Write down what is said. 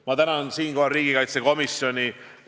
Ma tänan siinkohal riigikaitsekomisjoni.